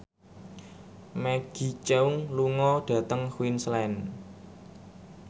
Maggie Cheung lunga dhateng Queensland